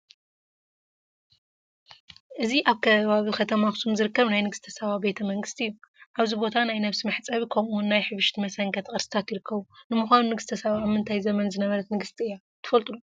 እዚ ኣብ ከባቢ ከተማ ኣኽሱም ዝርከብ ናይ ንግስተ ሳባ ቤተ መንግስቲ እዩ፡፡ ኣብዚ ቦታ ናይ ነብሲ መሕፀቢ ከምኡውን ናይ ህብሽቲ መሰንከቲ ቅርስታት ይርከቡ፡፡ ንምዃኑ ንግስተ ሳባ ኣብ ምንታይ ዘመን ዝነበረት ንግስቲ እያ?